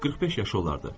45 yaşı olardı.